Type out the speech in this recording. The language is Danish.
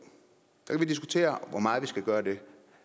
så kan vi diskutere hvor meget vi skal gøre det